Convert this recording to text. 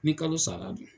Ni kalo sara don